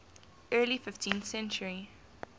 early fifteenth century